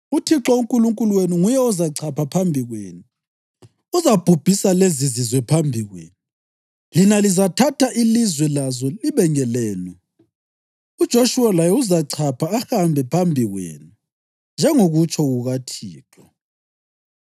UThixo uNkulunkulu wenu nguye ozachapha phambi kwenu. Uzabhubhisa lezizizwe phambi kwenu, lina lizathatha ilizwe lazo libe ngelenu. UJoshuwa laye uzachapha ahambe phambi kwenu, njengokutsho kukaThixo.